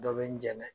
Dɔ bɛ n dɛmɛ